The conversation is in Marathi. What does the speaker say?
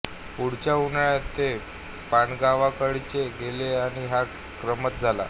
पुढच्या उन्हाळ्यात ते पाडगावकरांकडे गेले आणि हा क्रमच झाला